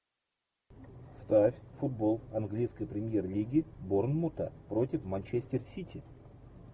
ставь футбол английской премьер лиги борнмута против манчестер сити